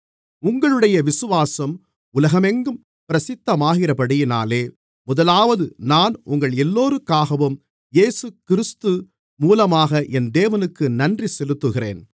உங்களுடைய விசுவாசம் உலகமெங்கும் பிரசித்தமாகிறபடியினாலே முதலாவது நான் உங்களெல்லோருக்காகவும் இயேசுகிறிஸ்து மூலமாக என் தேவனுக்கு நன்றி செலுத்துகிறேன்